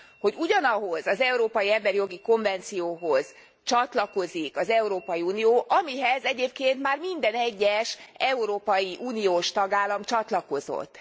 hogy ugyanahhoz az emberi jogi konvencióhoz csatlakozik az Európai Unió, amihez egyébként már minden egyes európai uniós tagállam csatlakozott.